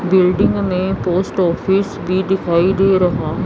Building में post office भी दिखाई दे रहा है।